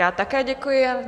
Já také děkuji.